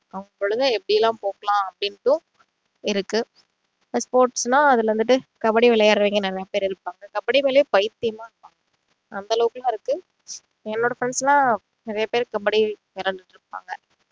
நம்ம பொழுத எப்படி எல்லாம் போக்கலாம் அப்படிண்டு இருக்கு இப்போ sports னா அதுல வந்துட்டு கபடி விளையாடுறவங்க நிறைய பேரு இருப்பாங்க கபடி மேல பைத்தியமா இருப்பாங்க அந்த அளவுக்குலாம் இருக்கு என்னோட friends எல்லாம் நிறைய பேரு கபடி விளையாடிட்டு இருப்பாங்க